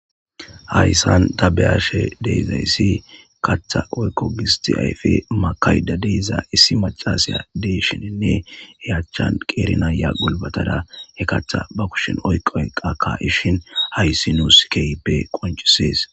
hayssan ta be7ashe deezayssi kaththa oykko gisti ayfi makayda deiza issi macasaya deshininne heyachan qeerinayya golbatada he katha ba kushin oyqo enqakka ishin hayssi nuuskeyppe qoncisees.